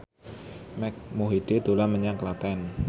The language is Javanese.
Mike Mohede dolan menyang Klaten